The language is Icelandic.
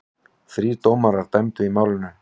Þrír dómarar dæmdu í málinu.